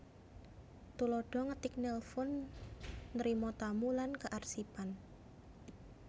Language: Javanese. Tuladha ngetik nelfon ntrima tamu lan kearsipan